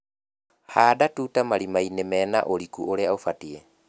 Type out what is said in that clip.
Handa tuta marimainĩ mena ũriku ũrĩa ũbatie.